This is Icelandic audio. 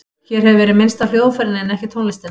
Hér hefur verið minnst á hljóðfærin en ekki tónlistina.